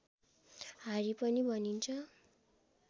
हारी पनि भनिन्छ